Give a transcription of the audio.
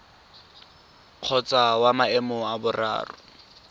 kgotsa wa maemo a boraro